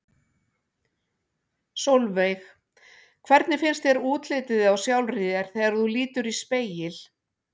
Sólveig: Hvernig finnst þér útlitið á sjálfri þér þegar þú lítur í spegil?